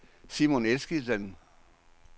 Simon Eskildsen